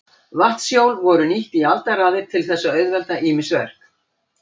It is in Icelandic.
Vatnshjól voru nýtt í aldaraðir til þess að auðvelda ýmis verk.